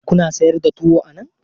Kuna sayar da tuwo a nan?